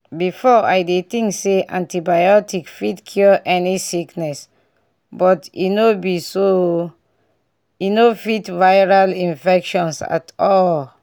before i dey think say antibiotic fit cure any sickness but no be so oooh e no fit viral infections at all.